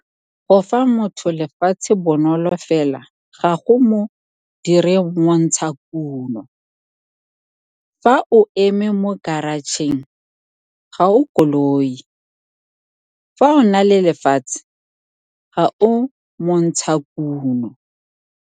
Go fa motho lefatshe Bonolo fela ga go mo dire montshakuno - fa o eme mo karatšheng, ga o koloi! Fa o na le lefatshe, ga o montshakuno.